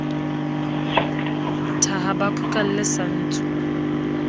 thaha ba phukalle sa ntsu